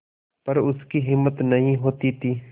पर उसकी हिम्मत नहीं होती थी